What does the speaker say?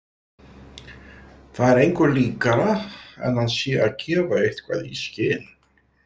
Það er engu líkara en hann sé að gefa eitthvað í skyn.